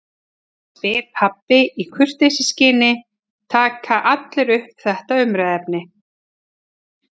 spyr pabbi og í kurteisisskyni taka allir upp þetta umræðuefni